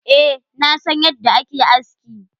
Eh, na san yadda a ke aski.